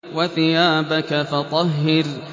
وَثِيَابَكَ فَطَهِّرْ